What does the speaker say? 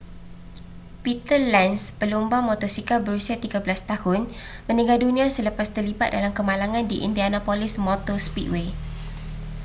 peter lenz pelumba motosikal berusia 13 tahun meninggal dunia selepas terlibat dalam kemalangan di indianapolis motor speedway